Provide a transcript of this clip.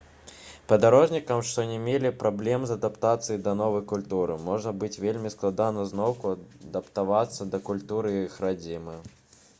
падарожнікам што не мелі праблем з адаптацыяй да новай культуры можа быць вельмі складана зноўку адаптавацца да культуры іх радзімы